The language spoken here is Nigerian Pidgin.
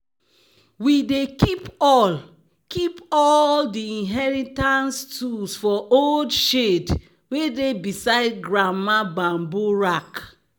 "we dey keep all keep all di inheritance tools for old shed wey dey beside grandma bamboo rack."